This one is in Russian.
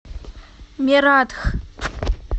мератх